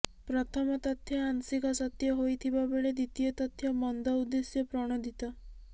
ପ୍ରଥମ ତଥ୍ୟ ଆଂଶିକ ସତ୍ୟ ହୋଇଥିବା ବେଳେ ଦ୍ୱିତୀୟ ତଥ୍ୟ ମନ୍ଦ ଉଦ୍ଦେଶ୍ୟ ପ୍ରଣୋଦିତ